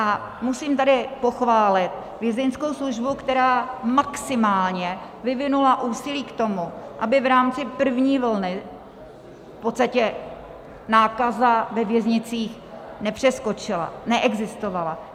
A musím tady pochválit Vězeňskou službu, která maximálně vyvinula úsilí k tomu, aby v rámci první vlny v podstatě nákaza ve věznicích nepřeskočila, neexistovala.